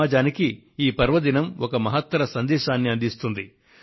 సమాజానికి ఈ పర్వదినం ఒక మహత్తర సందేశాన్ని అందిస్తుంది